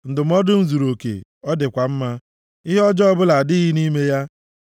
Ndụmọdụ m zuruoke, ọ dịkwa mma. Ihe ọjọọ ọbụla adịghị nʼime ya.